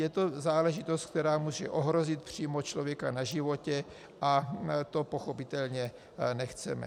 Je to záležitost, která může ohrozit přímo člověka na životě, a to pochopitelně nechceme.